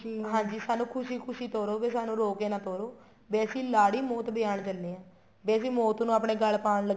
ਹਾਂਜੀ ਸਾਨੂੰ ਖੁਸ਼ੀ ਖੁਸ਼ੀ ਤਰੋ ਵੀ ਸਾਨੂੰ ਰੋ ਕੇ ਨਾ ਤੋਰੋ ਵੀ ਅਸੀਂ ਲਾੜੀ ਮੋਤ ਵਿਆਉਣ ਚੱਲੇ ਹਾਂ ਵੀ ਅਸੀਂ ਮੋਤ ਨੂੰ ਆਪਣੇ ਗੱਲ ਪਾਉਣ